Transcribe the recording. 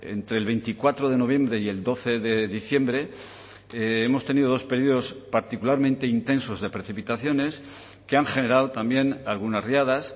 entre el veinticuatro de noviembre y el doce de diciembre hemos tenido dos periodos particularmente intensos de precipitaciones que han generado también algunas riadas